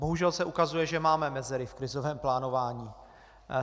Bohužel se ukazuje, že máme mezery v krizovém plánování.